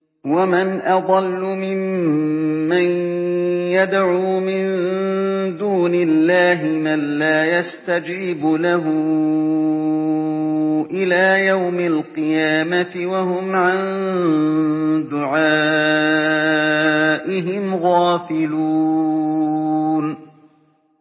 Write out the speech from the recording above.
وَمَنْ أَضَلُّ مِمَّن يَدْعُو مِن دُونِ اللَّهِ مَن لَّا يَسْتَجِيبُ لَهُ إِلَىٰ يَوْمِ الْقِيَامَةِ وَهُمْ عَن دُعَائِهِمْ غَافِلُونَ